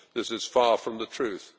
This is far from the truth.